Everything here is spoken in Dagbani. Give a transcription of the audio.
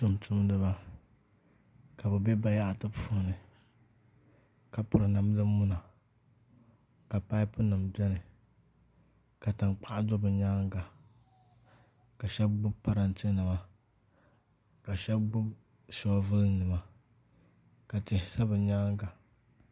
Tumtumdiba ka bi bɛ bayaɣati puuni ka piri namdi muna ka paipu nim biɛni ka tankpaɣu do bi nyaanga ka shab gbubi parantɛ nima ka shab gbubi shoovul nima ka tihi sa bi nyaanga